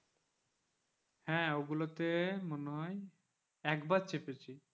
হা ওগুলোতে মনে হয় একবার চেপেছি,